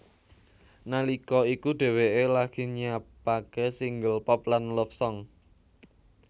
Nalika iku dheweké lagi nyiapaké single pop lan love song